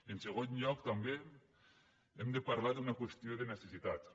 en segon lloc també hem de parlar d’una qüestió de necessitats